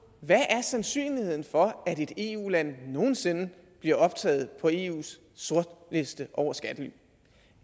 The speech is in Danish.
hvad sandsynligheden er for at et eu land nogen sinde bliver optaget på eus sortliste over skattely